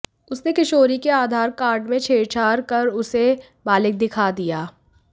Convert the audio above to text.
उसने किशोरी के आधार कार्ड में छेड़छाड़ कर उसे बालिग दिखा दिया